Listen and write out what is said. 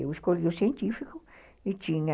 Eu escolhi o científico e tinha...